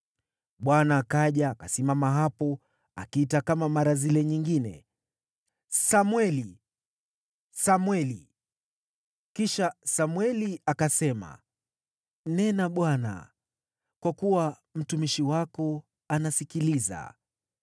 Bwana akaja akasimama hapo, akiita kama mara zile nyingine, “Samweli! Samweli!” Kisha Samweli akasema, “Nena Bwana , kwa kuwa mtumishi wako anasikiliza.”